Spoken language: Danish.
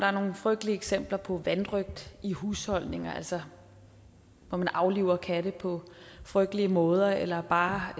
er nogle frygtelige eksempler på vanrøgt i husholdninger altså hvor man afliver katte på frygtelige måder eller bare